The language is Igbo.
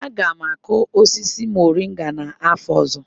Aga m akụ osisi moringa n'afọ ọzọ